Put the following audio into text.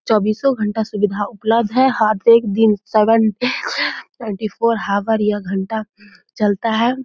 चौबीसों घंटा सुविधा उपलब्ध है हर एक दिन seven into twenty four hour या घंटा यह चलता है।